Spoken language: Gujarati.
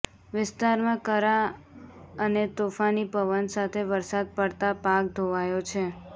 વિસ્તારમાં કરા અને તોફાની પવન સાથે વરસાદ પડતા પાક ધોવાયો છે